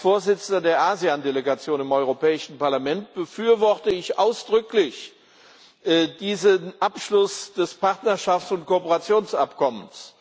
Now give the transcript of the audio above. Als Vorsitzender der ASEAN Delegation im Europäischen Parlament befürworte ich ausdrücklich diesen Abschluss des Partnerschafts und Kooperationsabkommens.